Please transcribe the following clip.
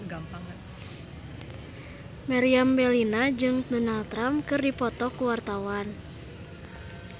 Meriam Bellina jeung Donald Trump keur dipoto ku wartawan